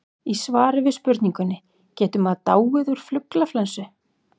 Í svari við spurningunni Getur maður dáið úr fuglaflensu?